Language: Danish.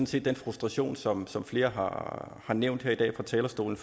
set den frustration som som flere har nævnt her i dag fra talerstolen